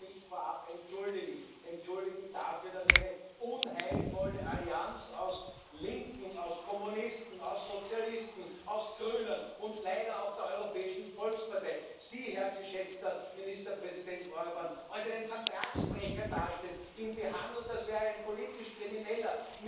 Ich möchte mich vorab entschuldigen entschuldigen dafür, dass eine unheilvolle Allianz aus Linken, aus Kommunisten, aus Sozialisten, aus Grünen und leider auch der Europäischen Volkspartei Sie, Herr geschätzter Ministerpräsident Orbán, als einen Vertragsbrecher darstellt, Sie behandelt, als wären Sie ein politisch Krimineller.